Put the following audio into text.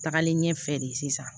Tagalen ɲɛfɛ de sisan